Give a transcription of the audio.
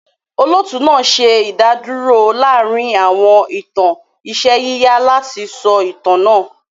Olóòtú náà ṣe ìdádúrò láàárín àwọn ìtàn iṣẹ́ yíyà láti sọ itan náà.